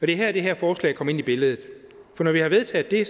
her det her forslag kommer ind i billedet for når vi har vedtaget det